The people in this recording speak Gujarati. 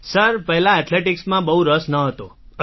સર પહેલા એથલેટિક્સ માં બહુ રસ નહોતો